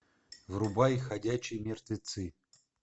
врубай ходячие мертвецы